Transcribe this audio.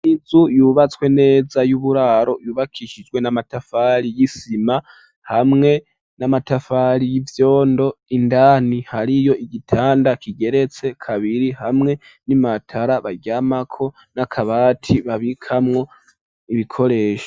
Inzu yubatswe neza y'uburaro yubakishijwe n'amatafari y'isima hamwe n'amatafari y'ivyondo, indani hariyo igitanda kigeretse kabiri hamwe n'imatara baryamako n'akabati babikamwo ibikoresho.